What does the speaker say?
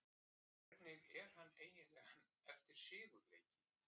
Hvernig er hann eiginlega eftir sigurleiki?